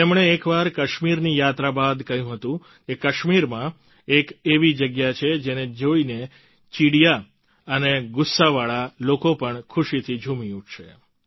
તેમણે એકવાર કાશ્મીરની યાત્રા બાદ કહ્યું હતું કે કાશ્મીરમાં એક એવી જગ્યા છે જેને જોઈને ચીડિયા અને ગુસ્સાવાળા લોકો પણ ખૂશીથી ઝૂમી ઉઠશે